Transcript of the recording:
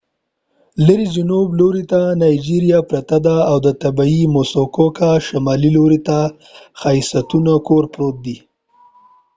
لرې جنوب لورې ته نایجیریا پرته ده او شمال لورې ته د muskoka د طبیعي ښایستونو کور پروت دی